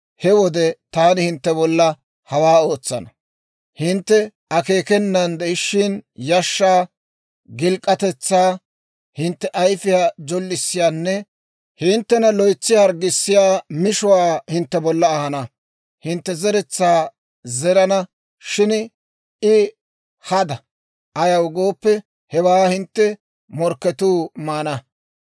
he wode taani hintte bolla hawaa ootsana: Hintte akeekenan de'ishshin yashshaa, gilk'k'atetsaa, hintte ayfiyaa jollisiyaanne hinttena loytsi harggissiyaa mishuwaa hintte bolla ahana. Hintte zeretsaa zerana; shin I hada; ayaw gooppe, hewaa hintte morkketuu maana.